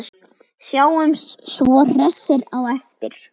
Sjáumst svo hressir á eftir.